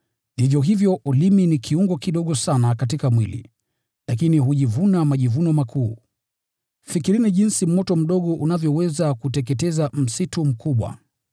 Vivyo hivyo ulimi ni kiungo kidogo sana katika mwili, lakini hujivuna majivuno makuu. Fikirini jinsi moto mdogo unavyoweza kuteketeza msitu mkubwa!